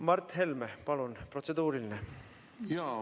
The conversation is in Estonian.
Mart Helme, palun, protseduuriline!